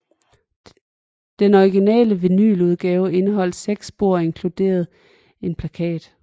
Den originale vinyludgave indeholdt seks spor og inkluderede en plakat